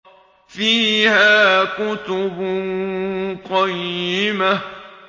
فِيهَا كُتُبٌ قَيِّمَةٌ